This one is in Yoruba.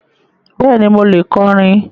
Bẹ́ẹ̀ni, mo lè kọrin.